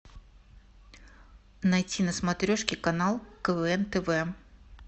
найти на смотрешке канал квн тв